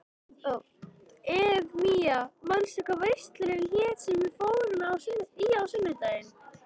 Eufemía, manstu hvað verslunin hét sem við fórum í á sunnudaginn?